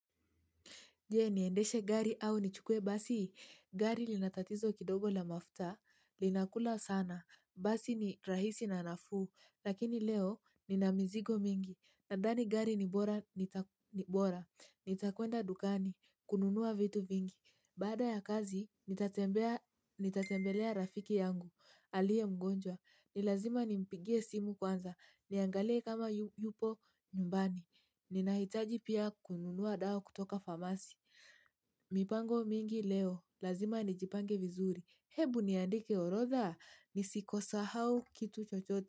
Je niendeshe gari au nichukue basi? Gari linatatizo kidogo la mafuta. Linakula sana. Basi ni rahisi na nafuu. Lakini leo nina mizigo mingi. Nadhani gari ni bora. Nitakwenda dukani. Kununua vitu vingi. Baada ya kazi, nitatembelea rafiki yangu. Aliye mgonjwa. Ni lazima nimpigie simu kwanza. Niangalie kama yupo nyumbani. Ninahitaji pia kununua dawa kutoka famasi. Mipango mingi leo. Lazima nijipange vizuri. Hebu niandike orotha. Nisikisahau kitu chochote.